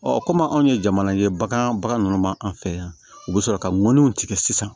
kɔmi anw ye jamana ye bagan baga ninnu ma an fɛ yan u bɛ sɔrɔ ka mɔniw tigɛ sisan